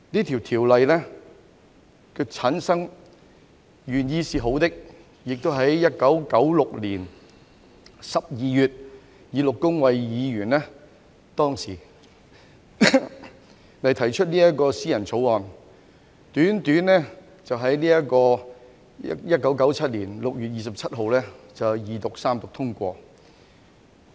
《條例》由前議員陸恭蕙在1996年12月以私人條例草案形式提出，短時間內完成審議，在1997年6月27日經二讀及三讀通過。